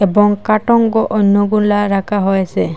এবং কাটোঙ্গ অন্যগুলা রাকা হয়েসে।